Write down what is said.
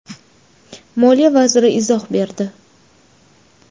Moliya vaziri izoh berdi.